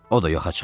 O da yoxa çıxıb?